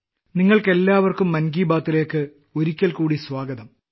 നിങ്ങൾക്കെല്ലാവർക്കും മൻ കി ബാത്ത് ലേയ്ക്ക് ഒരിക്കൽക്കൂടി സ്വാഗതം